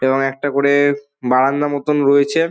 এবং একটা করে-এ বারান্দা মতোন রয়েছে ।